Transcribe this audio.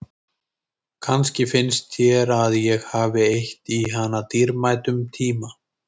Kannski finnst þér að ég hafi eytt í hana dýrmætum tíma.